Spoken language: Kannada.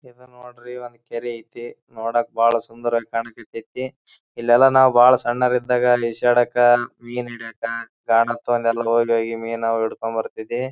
ಇದ ನೋಡ್ರಿ ಒಂದ್ ಕೆರೆ ಐತಿ. ನೋಡಕ್ ಬಹಳ ಸುಂದರವಾಗಿ ಕಣಕ್ಹತ್ತೈತಿ. ಇಲ್ಲೆಲ್ಲಾ ನಾವು ಬಹಳ ಸಣ್ಣರ್ ಇದ್ದಾಗ ಈಜಾಡಕ ಮೀನ್ ಹಿಡಿಯಕ ಮೀನಾ ಹಿಡ್ಕೊಂಡ್ ಬರ್ತತಿದ್ವಿ.